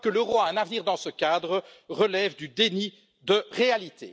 Croire que l'euro a un avenir dans ce cadre relève du déni de réalité.